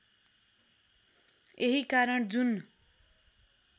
यही कारण जुन